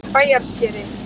Bæjarskeri